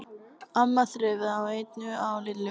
amma þreifaði á enninu á Lillu.